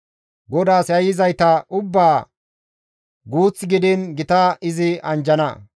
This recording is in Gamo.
GODAAS yayyizayta ubbaa guuth gidiin gita izi anjjana.